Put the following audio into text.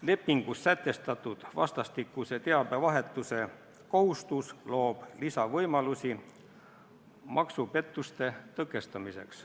Lepingus sätestatud vastastikuse teabevahetuse kohustus loob lisavõimalusi maksupettuste tõkestamiseks.